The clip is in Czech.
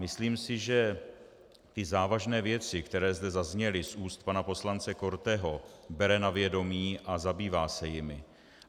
Myslím si, že i závažné věci, které zde zazněly z úst pana poslance Korteho, bere na vědomí a zabývá se jimi.